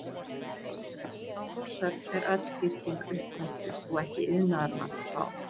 Á Þórshöfn er öll gisting upppöntuð og ekki iðnaðarmann að fá.